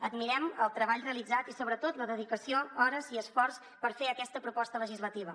admirem el treball realitzat i sobretot la dedicació hores i esforç per fer aquesta proposta legislativa